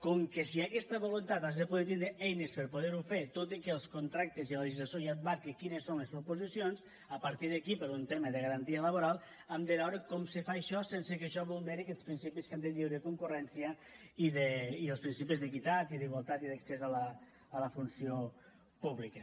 com que si hi ha aquesta voluntat has de poder tindre eines per poder ho fer tot i que els contractes i la legislació ja et marquen quines són les proposicions a partir d’aquí per un tema de garantia laboral hem de veure com se fa això sense que això vulneri aquests principis que hem dit de lliure concurrència i els principis d’equitat i d’igualtat d’accés a la funció pública